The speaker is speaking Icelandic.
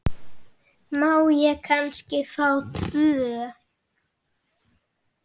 Má ég kannski fá tvö?